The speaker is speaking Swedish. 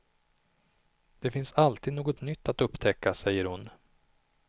Det finns alltid något nytt att upptäcka, säger hon.